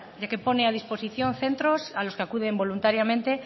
ya que pone a disposición centros a los que acuden voluntariamente